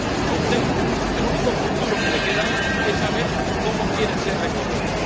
A usted, el único futuro que le queda es saber cómo quiere ser recordado.